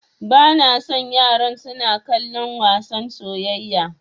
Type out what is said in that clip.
Bana son yaran suna kallon wasan soyayya.